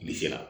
Bilisi la